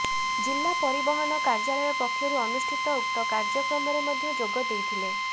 ଜିଲ୍ଲା ପରିବହନ କାର୍ୟାଳୟ ପକ୍ଷରୁ ଅନୁଷ୍ଠିତ ଉକ୍ତ କାର୍ୟ୍ୟକ୍ରମ ରେ ମଧ୍ୟ ଯୋଗଦେଇଥିଲେ